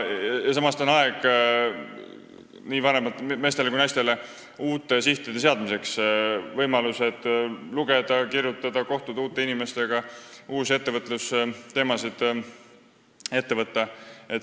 Samas on see nii meestele kui naistele aeg uute sihtide seadmiseks: on võimalik lugeda, kirjutada, uute inimestega kohtuda, uusi ettevõtlusteemasid ette võtta.